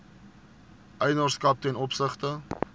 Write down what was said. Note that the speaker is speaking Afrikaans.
eienaarskap ten opsigte